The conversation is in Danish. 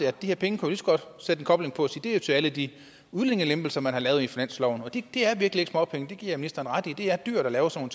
at de her penge er til alle de udlændingelempelser man har lavet i finansloven det er virkelig ikke småpenge det giver jeg ministeren ret i det er dyrt at lave sådan